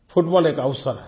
football एक अवसर है